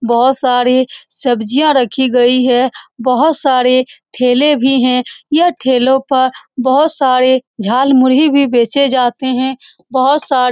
बहुत सारी सब्जियाँ रखी गयी हैं बहुत सारे ठेले भी हैं यह ठेलो पर बहुत सारे झालमुरी भी बेचे जाते हैं बहुत सारे --